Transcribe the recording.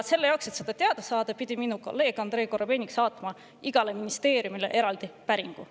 Selle jaoks, et neid numbreid teada saada, pidi minu kolleeg Andrei Korobeinik saatma igale ministeeriumile eraldi päringu.